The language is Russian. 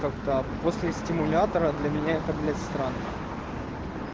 как-то после стимулятора для меня это блять странно